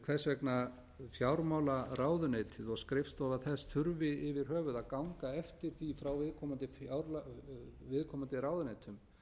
hvers vegna fjármálaráðuneytið og skrifstofa þess þurfi yfir höfuð að ganga eftir því frá viðkomandi ráðuneytum